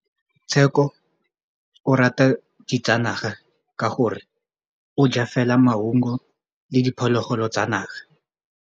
Tshekô o rata ditsanaga ka gore o ja fela maungo le diphologolo tsa naga.